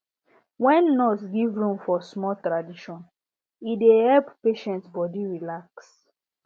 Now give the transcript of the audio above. when nurse give room for small tradition e dey help patient body relax